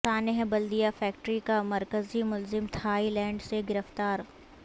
سانحہ بلدیہ فیکٹری کا مرکزی ملزم تھائی لینڈ سے گرفتار